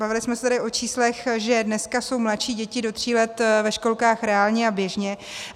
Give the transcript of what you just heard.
Bavili jsme se tady o číslech, že dneska jsou mladší děti do tří let ve školkách reálně a běžně.